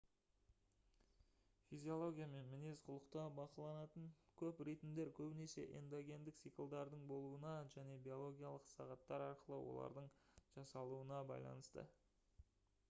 физиология мен мінез-құлықта бақыланатын көп ритмдер көбінесе эндогендік циклдардың болуына және биологиялық сағаттар арқылы олардың жасалуына байланысты